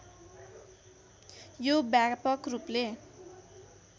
यो व्यापक रूपले